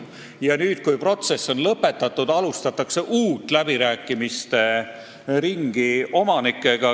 Ja nüüd, kui protsess on lõpetatud, alustatakse uued läbirääkimised omanikega.